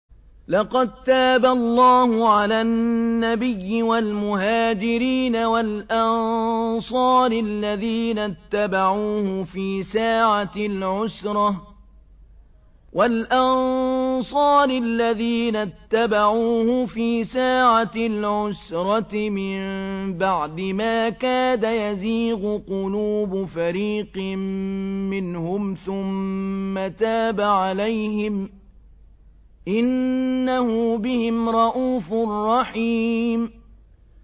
لَّقَد تَّابَ اللَّهُ عَلَى النَّبِيِّ وَالْمُهَاجِرِينَ وَالْأَنصَارِ الَّذِينَ اتَّبَعُوهُ فِي سَاعَةِ الْعُسْرَةِ مِن بَعْدِ مَا كَادَ يَزِيغُ قُلُوبُ فَرِيقٍ مِّنْهُمْ ثُمَّ تَابَ عَلَيْهِمْ ۚ إِنَّهُ بِهِمْ رَءُوفٌ رَّحِيمٌ